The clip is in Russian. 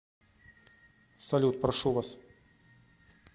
салют прошу вас